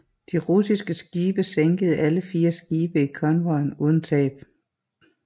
De russiske skibe sænkede alle fire skibe i konvojen uden tab